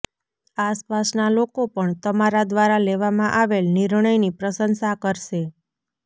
આસપાસના લોકો પણ તમારા દ્વારા લેવામાં આવેલ નિર્ણયની પ્રશંસા કરશે